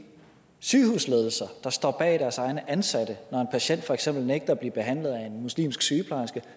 sygehusledelser der står bag deres ansatte når en patient for eksempel nægter at blive behandlet af en muslimsk sygeplejerske